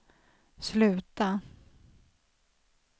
sluta